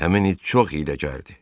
Həmin it çox hiyləgərdi.